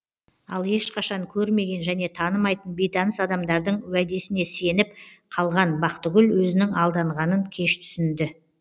ал ешқашан көрмеген және танымайтын бейтаныс адамдардың уәдесіне сеніп қалған бақтыгүл өзінің алданғанын кеш түсінді